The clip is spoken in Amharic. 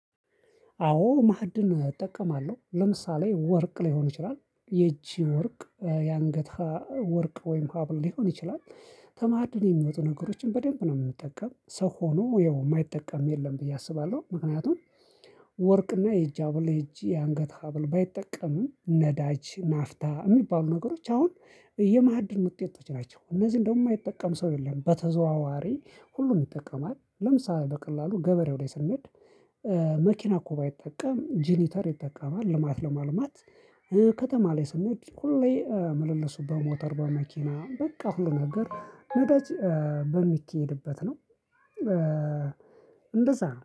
አዎ ማህድን እጠቀማለው። ለምሳሌ ወርቅ ሊሆን ይችላል የእጅ ወርቅ የአንገት ወርቅ ወይም ሀብል ሊሆን ይችላል። ከማህድን የሚወጡ ነገሮችን በደንብ ነው የምንጠቀም ሰው ሆኖ የማይጠቀም የለም ብዬ አስባለው ምክንያቱም ወርቅና የአጅ ሀብል የአጅ የአንገት ሀብል ባይጠቀምም ነዳጅ ናፍታ የሚባሉ ነገሮች አሁን የማዕድን ውጤቶች ናቸው። እነዚህ እንደውም የማይጠቀም ሰው የለም በተዘዋዋሪ ሁሉንም ይጠቀማል። ለምሳሌ በቀላሉ ገበሬው ላይ ስንሄድ መኪና እኮ ባይጠቀም ጂኔተር ይጠቀማል። ልማት ለማልማት ከተማ ላይ ስንሄድ ሁሌ ምልልሱ በሞተር በመኪና በቃ ሁሉ ነገር ነዳጅ በሚኬድበት ነው እንደዛ